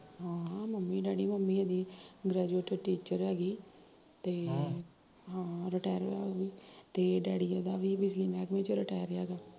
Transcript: ਹਾਂ mummy daddy mummy ਇਹਦੀ graduate teacher ਐਗੀ ਤੇ ਅਹ ਹਾਂ ਰੀਟੈਰ ਵਾ ਉਹ ਵੀ, ਤੇ ਡੈਡੀ ਇਹਦਾ ਵੀ ਬਿਜਲੀ ਮਹਿਕਮੇ ਚੋ ਰੀਟੈਰ ਵਾ